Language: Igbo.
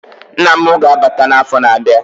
Nna mụ ga-abata na afọ na abịa